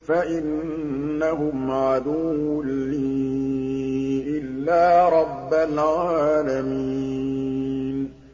فَإِنَّهُمْ عَدُوٌّ لِّي إِلَّا رَبَّ الْعَالَمِينَ